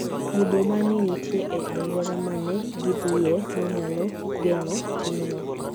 Mudho ma ne nitie e alwora ma ne gidhiye ne nyalo geng'o timno.